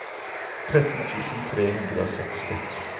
tretten tusen tre hundre og seksti